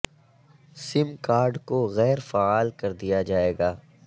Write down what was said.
سم card کو غیر فعال کر دیا جائے گا